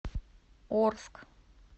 орск